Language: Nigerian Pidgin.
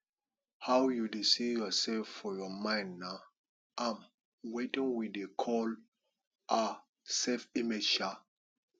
how you dey see yourself for your mind nah um wetin we dey call um self image um